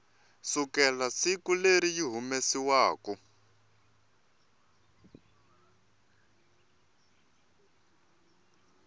sukela siku leri yi humesiwaku